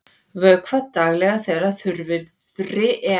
Vökvað daglega þegar þurrviðri er.